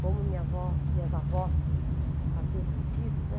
Como minha avó, minhas avós faziam os pedidos, né?